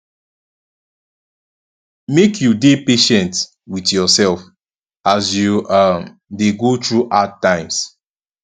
make you dey patient wit yoursef as you um dey go through hard times